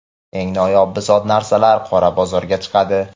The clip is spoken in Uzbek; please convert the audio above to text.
eng noyob bisot-narsalar qora bozorga chiqadi.